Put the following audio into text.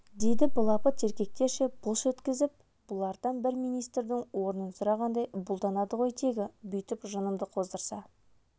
дейді былапыт еркектерше былш еткізіп бұлардан бір министрдің орнын сұрағандай бұлданады ғой тегі бүйтіп жынымды қоздырса